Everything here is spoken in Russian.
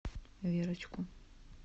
верочку